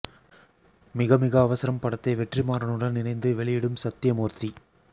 மிக மிக அவசரம் படத்தை வெற்றி மாறனுடன் இணைந்து வெளியிடும் சத்யமூர்த்தி